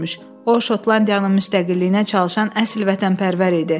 O Şotlandiyanın müstəqilliyinə çalışan əsl vətənpərvər idi.